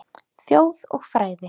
Þjóð og fræði